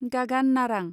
गागान नारां